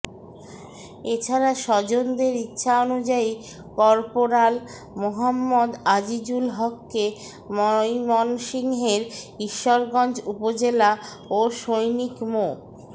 এ ছাড়া স্বজনদের ইচ্ছানুযায়ী কর্পোরাল মোহাম্মদ আজিজুল হককে ময়মনসিংহের ঈশ্বরগঞ্জ উপজেলা ও সৈনিক মো